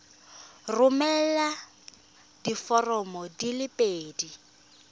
romela diforomo di le pedi